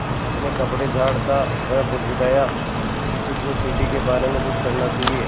अपने कपड़े झाड़ता वह बुदबुदाया किसी को सीढ़ी के बारे में कुछ करना चाहिए